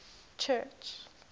church